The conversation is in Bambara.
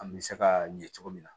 An bɛ se ka ɲɛ cogo min na